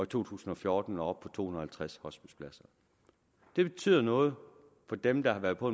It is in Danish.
to tusind og fjorten når op på to hundrede og halvtreds hospicepladser det betyder noget for dem der har været på